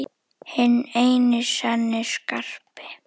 Hinn eini sanni Skarpi!